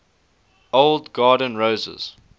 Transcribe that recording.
old garden roses